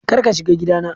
Kar ka shiga gidana!